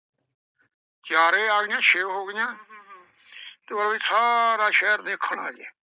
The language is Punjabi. ਚਾਰੇ ਆਲੀਆ ਛੇ ਹੋ ਗਈਆਂ ਤੇ ਬਈ ਸਾਰਾ ਸ਼ਹਿਰ ਦੇਖਣ ਆ ਗਿਆ।